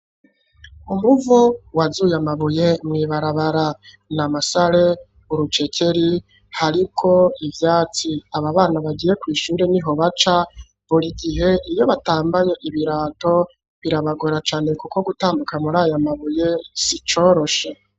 Umuvo wazuye amabuye nibarabara na masale urucekeri hariko ivyatsi aba bana bagiye ku ishure n'iho baca buri gihe iyo batambaye ibirato birabagora cane kuko gutambuka muri ayamabuye sicoroshe.